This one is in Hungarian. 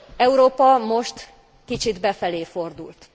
Európa most kicsit befelé fordult.